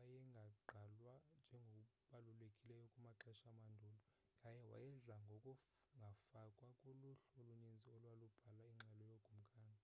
wayengagqalwa njengobalulekileyo kumaxesha amanduula yaye wayedla ngokungafakwa kuluhlu oluninzi olwalubhala ingxelo yookumkani